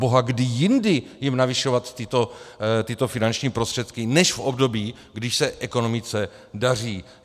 Proboha, kdy jindy jim navyšovat tyto finanční prostředky než v období, když se ekonomice daří?